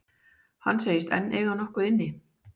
Hann segist enn eiga nokkuð inni.